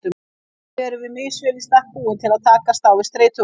Þannig erum við misvel í stakk búin til að takast á við streituvaldinn.